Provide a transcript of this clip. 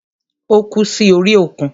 Ó kú sí orí òkun.